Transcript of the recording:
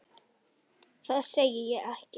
Það segi ég ekki.